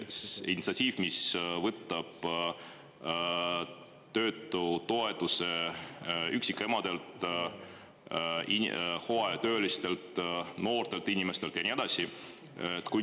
See initsiatiiv, mis võtab töötutoetuse üksikemadelt, hooajatöölistelt, noortelt inimestelt, ja nii edasi?